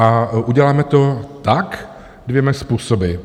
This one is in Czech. A uděláme to tak dvěma způsoby.